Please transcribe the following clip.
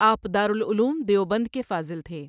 آپ دارالعلوم دیوبند کے فاضل تھے۔